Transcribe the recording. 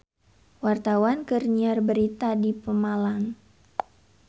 Wartawan keur nyiar berita di Pemalang